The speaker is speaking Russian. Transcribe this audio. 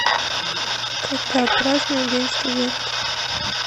когда празднуют день студента